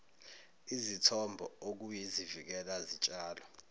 izithombo okuyizivikela zitshalo